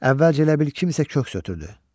Əvvəlcə elə bil kimsə köks ötürdü.